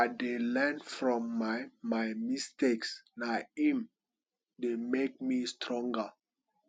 i dey learn from my my mistakes na im dey make me stronger